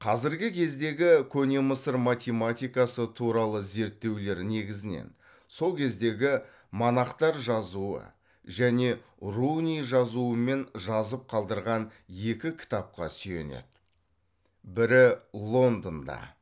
қазіргі кездегі көне мысыр математикасы туралы зерттеулер негізінен сол кездегі монахтар жазуы және руни жазуымен жазып қалдырған екі кітапқа сүйенеді бірі лондонда